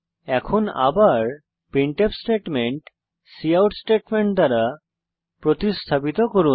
এখন আবার printf statement cout statement দ্বারা প্রতিস্থাপিত করুন